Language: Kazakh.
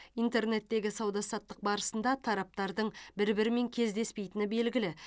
интернеттегі сауда саттық барысында тараптардың бір бірімен кездеспейтіні белгілі